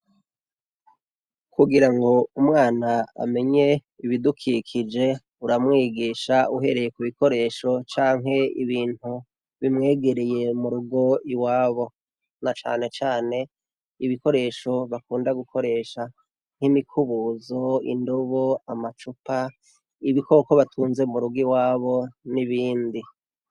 Kugirango umwana amenye ibidukikije uramwigisha uhereye kubikoresho canke ibintu bimwegereye murugo iwabo, na cane ibikoresho bakunda gukoresha, nk'imikubuzo, indobo, amacupa, ibikoko batunze murugo iwabo n'ibindi.